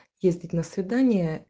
ездить на свидание